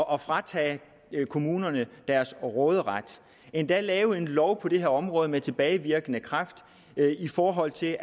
og fratage kommunerne deres råderet endda at lave en lov på det her område med tilbagevirkende kraft i forhold til